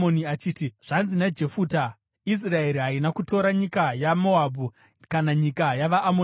achiti, “Zvanzi naJefuta: Israeri haina kutora nyika yeMoabhu kana nyika yavaAmoni.